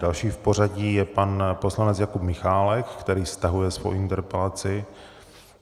Další v pořadí je pan poslanec Jakub Michálek, který stahuje svou interpelaci.